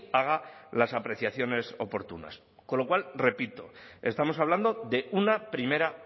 haga las apreciaciones oportunas con lo cual repito estamos hablando de una primera